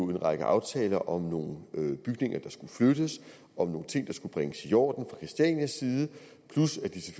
en række aftaler om nogle bygninger der skulle flyttes om nogle ting der skulle bringes i orden fra christianias side plus at de